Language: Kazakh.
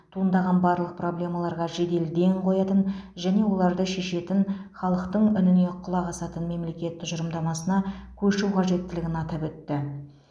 туындаған барлық проблемаларға жедел ден қоятын және оларды шешетін халықтың үніне құлақ асатын мемлекет тұжырымдамасына көшу қажеттілігін атап өтті